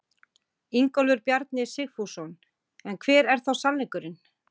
Ingólfur Bjarni Sigfússon: En hver er þá sannleikurinn?